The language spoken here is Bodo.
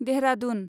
देहरादुन